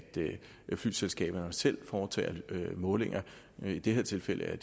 flyselskaberne selv foretog målinger i det her tilfælde er